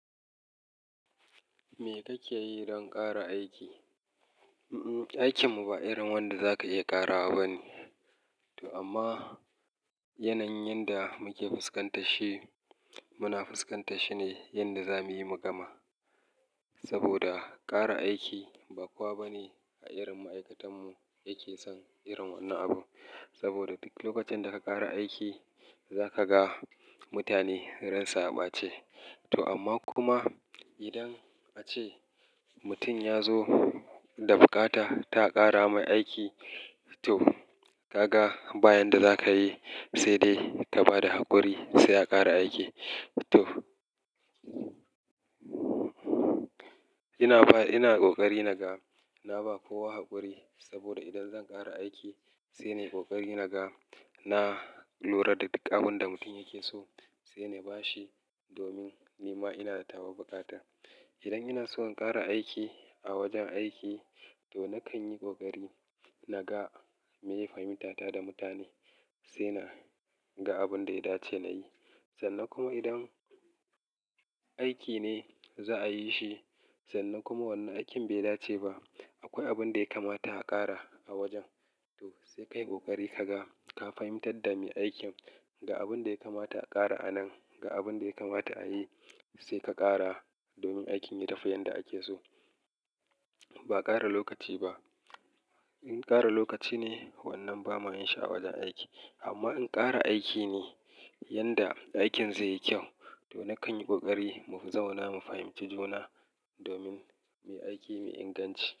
Me kake yi don ƙara aiki? Aikinmu ba irin wanda za ka iya ƙarawa ba ne. To amma yanayin yanda muke fuskantashi, muna fuskantashi ne yanda za muyi mugama. Saboda ƙara aiki ba kowa ba ne a irin ma'aikatanmu yake son irin wannan abu. Saboda duk lokacin da ka ƙara aiki, za ka ga mutane ransu a ɓace. To amma kuma idan ace mutum ya zo da bukata ta ƙara mai aiki, to ka ga ba yanda za ka yi sai dai ka ba da haƙuri sai a ƙara aiki. To ina ba, ina ƙoƙari naga na ba kowa haƙuri saboda idan zan ƙara aiki, sai nai ƙoƙari naga na lura da duk abin da mutum yake so sai na ba shi domin ni ma ina da tawa buƙatar. Idan ina so in ƙara aiki a wajen aiki, to nakan yi ƙoƙari naga meye fahimtata da mutane sai na ga abun da ya dace na yi. Sannan kuma idan aiki ne za'a yi shi, sannan kuma wannan aikin bai dace ba, akwai abun da ya kamata a ƙara a wajen. To sai ka yi ƙoƙari ka ga, ka fahimtar da mai aikin ga abun da ya kamata a ƙara a nan, ga abun da ya kamata a yi sai ka ƙara domin aikin ya tafi yanda ake so. Ba ƙara lokaci ba. In ƙara lokaci ne, wannan ba ma yin shi a wajen aiki. Amma in ƙara aiki ne yanda aikin zai yi kyau, to nakan yi ƙoƙari mu zauna mu fahimci juna domin mu yi aiki mai inganci.